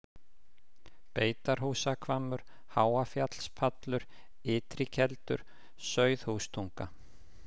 Beitarhúsahvammur, Háafjallspallur, Ytri-Keldur, Sauðhústunga